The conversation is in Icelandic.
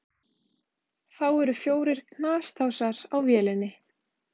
Þá eru fjórir knastásar á vélinni.